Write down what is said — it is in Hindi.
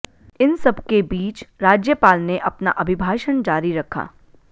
इन सबके बीच राज्यपाल ने अपना अभिभाषण जारी रखा